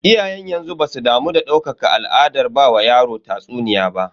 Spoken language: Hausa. Iyayen yanzu basu damu da ɗaukaka al'adar ba wa yaro tatsuniya ba.